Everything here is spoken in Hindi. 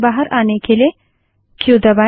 इससे बाहर आने के लिए क्यू दबायें